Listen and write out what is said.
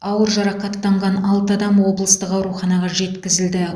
ауыр жарақаттанған алты адам облыстық ауруханаға жеткізілді